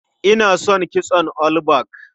Ina son kitson all back.